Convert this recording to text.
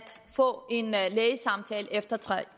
få en lægesamtale efter tre